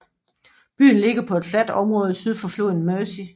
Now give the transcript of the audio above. Byen ligger på et fladt område syd for floden Mersey